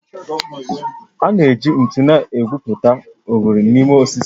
A na-eji ntu na-egwupụta oghere n'ime osisi